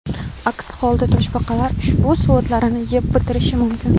Aks holda toshbaqalar ushbu suvo‘tlarni yeb bitirishi mumkin.